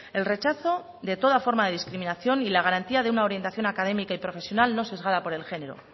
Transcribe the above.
el rechazo de toda forma de discriminación y la garantía de una orientación académica y profesional no sesgada por el género